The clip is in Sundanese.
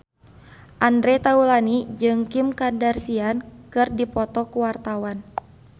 Andre Taulany jeung Kim Kardashian keur dipoto ku wartawan